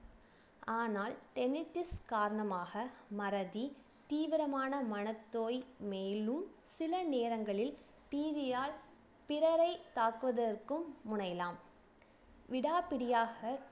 ஆனால் காரணமாக மறதி தீவிரமான மனத்தோய் மேலும் சில நேரங்களில் TV யால் பிறரை தாக்குவதற்கும் முனையலாம் விடாப்பிடியாக